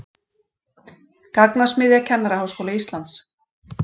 Gagnasmiðja Kennaraháskóla Íslands